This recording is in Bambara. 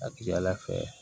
A ka ca ala fɛ